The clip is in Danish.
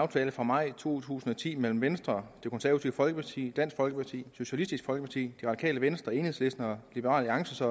aftale fra maj to tusind og ti mellem venstre det konservative folkeparti dansk folkeparti socialistisk folkeparti det radikale venstre enhedslisten og liberal alliance så